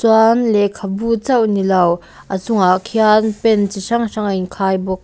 chuan lehkhabu chauh nilo a chungah khian pen chi hrang hrang a inkhai bawk.